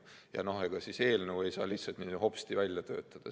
Ja ega siis eelnõu ei saa lihtsalt hopsti välja töötada.